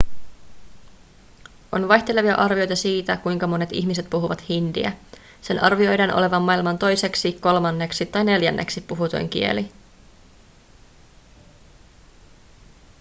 on vaihtelevia arvioita siitä kuinka monet ihmiset puhuvat hindiä sen arvioidaan olevan maailman toiseksi kolmanneksi tai neljänneksi puhutuin kieli